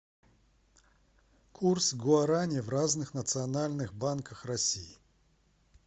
курс гуарани в разных национальных банках россии